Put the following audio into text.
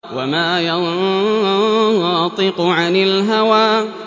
وَمَا يَنطِقُ عَنِ الْهَوَىٰ